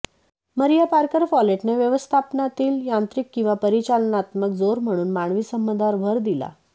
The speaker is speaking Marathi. मरीया पार्कर फॉलेटने व्यवस्थापनातील यांत्रिक किंवा परिचालनात्मक जोर म्हणून मानवी संबंधांवर भर दिला